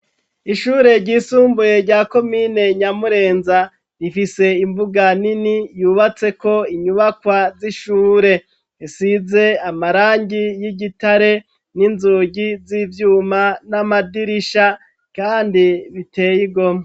ishure ryisumbuye rya komine nyamurenza rifise imbuga nini yubatseko inyubakwa z'ishure zisize amarangi y'igitare n'inzugi z'ivyuma n'amadirisha kandi biteye igomwe.